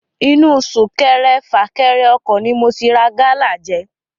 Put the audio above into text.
Inu súnkẹrẹ-fàkẹrẹ ọkọ̀ ni mo ti rà gala jẹ.